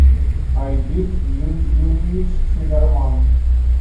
айдын юрьевич циммерман